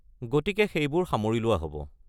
গতিকে সেইবোৰ সামৰি লোৱা হ’ব।